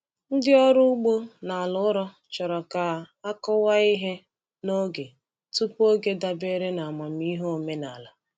Ndị ọrụ ugbo n’ala ụrọ chọrọ ka a kụwa ihe n’oge tupu oge dabere n’amamihe omenala.